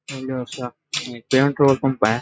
यो तो एक पेट्रोल पंप है।